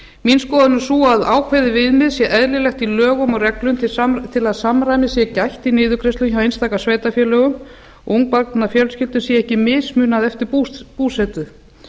mín skoðun er sú að ákveðið viðmið sé eðlilegt í lögum og reglum til að samræmis sé gætt í niðurgreiðslum hjá einstaka sveitarfélögum ungbarnafjölskyldum sé ekki mismunað eftir búsetu